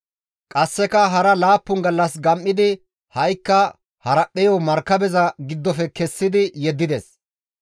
Qasseka hara laappun gallas gam7idi ha7ikka haraphpheyo markabeza giddofe kessi yeddides.